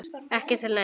Ekki til neins?